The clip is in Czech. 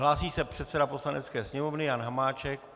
Hlásí se předseda Poslanecké sněmovny Jan Hamáček.